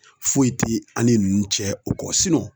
Foyi ti an ni ninnu cɛ o kɔ